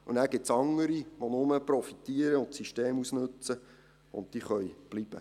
Und dann gibt es andere, die nur profitieren und das System ausnützen, und diese können bleiben.